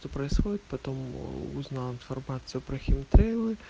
то происходит потом у узнал информация про химтрейлы